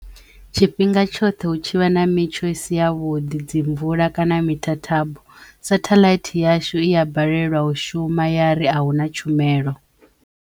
Tshifhinga tshoṱhe hu tshi vha na mitsho i si ya vhuḓi dzi mvula kana mithathabo satheḽaithi yashu i ya balelwa u shuma ya ri a huna tshumelo.